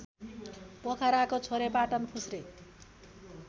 पोखराको Chhorepatan फुस्रे